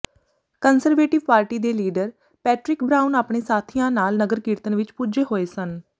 conservative party ਦੇ leader Patrick Brown ਆਪਣੇ ਸਾਥੀਆਂ ਨਾਲ ਨਗਰ ਕੀਰਤਨ ਵਿੱਚ ਪੁੱਜੇ ਹੋਏ ਸਨ